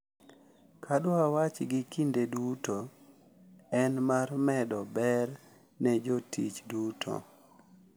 Ka dwachgi kinde duto en mar medo ber ne jotich duto.